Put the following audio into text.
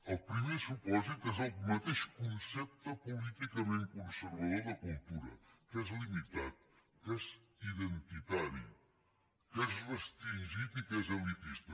el primer supòsit és el mateix concepte políticament conservador de cultura que és limitat que és identitari que és restringit i que és elitista